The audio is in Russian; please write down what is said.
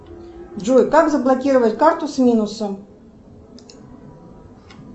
джой как заблокировать карту с минусом